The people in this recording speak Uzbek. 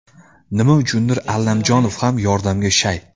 Nima uchundir Allamjonov ham yordamga shay.